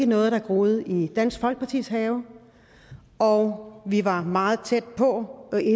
noget der groede i dansk folkepartis have og vi var meget tæt på